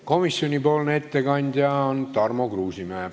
Komisjonipoolne ettekandja on Tarmo Kruusimäe.